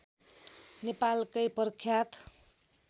नेपालकै प्रख्यात